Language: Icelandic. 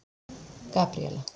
Gabríela